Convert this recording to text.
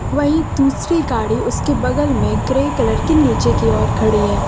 वहीं दूसरी गाड़ी उसके बगल में ग्रे कलर की नीचे की ओर खड़ी है।